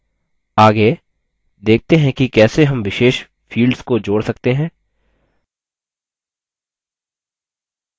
आगे देखते हैं कि कैसे हम विशेष fields को जोड़ सकते हैं